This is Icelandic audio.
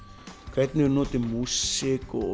hvernig við notum músík og